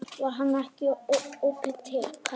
Var hann ekki apótekari?